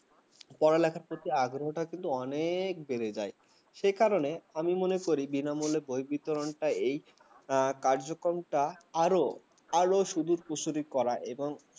পড়ালেখার উপর প্রতি আগরাটা কিন্তু অনেক বেড়ে যায় সে কারণে আমি মনে করি বিনামূল্যে বই বিতরণ টা যে কার্যক্রমটা আরো আরো সুদুর মসুলি করা